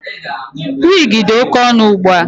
Wigi dị oke ọnụ ugbua.